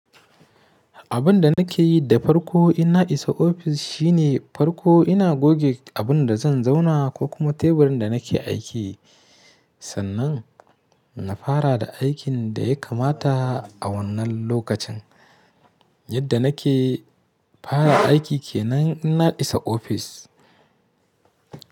Abin da nake yi da farko ina isa ofis shine farko ina goge abin da zan zauna ko kuma teburin da nake aiki. Sannan na fara da aikin da ya kamata a wannan lokacin. Yadda nake fara aiki ke nan in na isa ofis.